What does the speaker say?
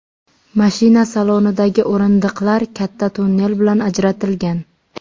Mashina salonidagi o‘rindiqlar katta tunnel bilan ajratilgan.